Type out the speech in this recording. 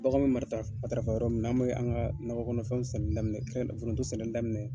Bagan mi marita matarafa yɔrɔ min na, an bi an ga nɔkɔ kɔnɔfɛnw sɛnɛli daminɛ foronto sɛnɛli daminɛ yen.